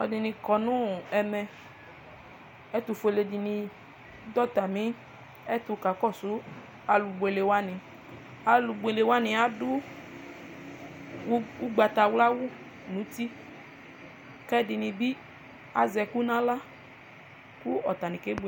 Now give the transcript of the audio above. aloɛdini kɔ no ɛmɛ ɛtofuele di ni do atami ɛto kakɔsu alo buele wani alobuele wani ado ugbatawla awu n'uti k'ɛdini bi azɛ ɛkò n'ala kò atani kebuele